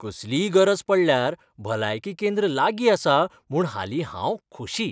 कसलीय गरज पडल्यार भलायकी केंद्र लागीं आसा म्हूण हालीं हांव खोशी.